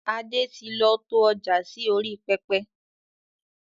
Adé tí lọ to ọjà sì orí pẹpẹ